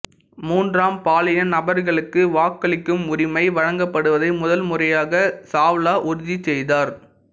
மூன்றாம் பாலின நபர்களுக்கு வாக்களிக்கும் உரிமை வழங்கப்படுவதை முதல் முறையாக சாவ்லா உறுதி செய்தார்